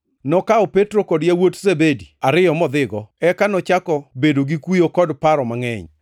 Nokawo Petro kod yawuot Zebedi ariyo modhigo, eka nochako bedo gi kuyo kod paro mangʼeny.